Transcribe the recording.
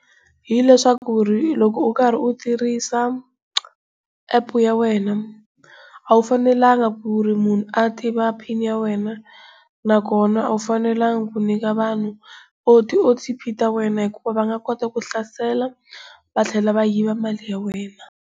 Hileswaku loko u karhi u tirhisa App ya wena a wu fanelanga ku ri munhu a tiva pin ya wena, nakona a wu fanelanga ku nyika vanhu o_t_p ta wena hikuva va nga kota ku hlasela va tlhela va yiva mali ya wena.